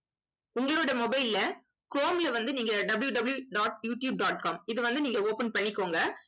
உங்களோட mobile ல குரோம்ல வந்து நீங்க www dot YouTube dot com இதை வந்து நீங்க open பண்ணிக்கோங்க